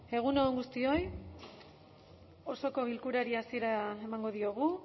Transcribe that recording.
egun on guztioi osoko bilkurari hasiera emango diogu